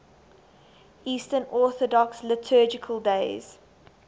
eastern orthodox liturgical days